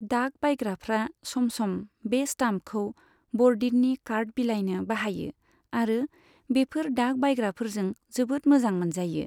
डाक बायग्राफ्रा सम सम बे स्टाम्पखौ बर'दिननि कार्ड बिलायनो बाहायो, आरो बेफोर डाक बायग्राफोरजों जोबोद मोजां मोनजायो।